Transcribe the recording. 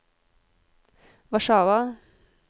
Warszawa